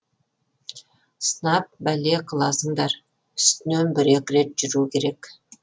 сынап бәле қыласыңдар үстінен бір екі рет жүру керек